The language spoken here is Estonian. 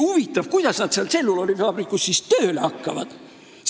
Huvitav, kuidas nad seal tselluloosivabrikus tööle hakkaksid.